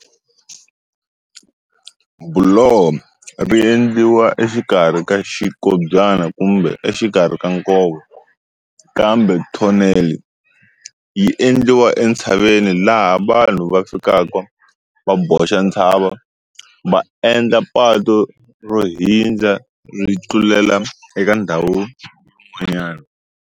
Buloho ri endliwa exikarhi ka xikobyana kumbe exikarhi ka nkova, kambe thoneli yi endliwa entshaveni laha vanhu va fikaka va boxa ntshava va endla patu ro hundza ri tlulela eka ndhawu yin'wanyana.